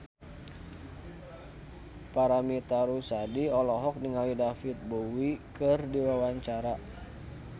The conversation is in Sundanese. Paramitha Rusady olohok ningali David Bowie keur diwawancara